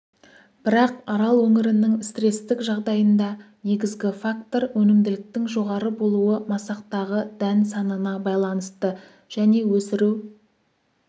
бірақ арал өңірінің стрестік жағдайында негізгі фактор өнімділіктің жоғары болуы масақтағы дән санына байланысты және өсіру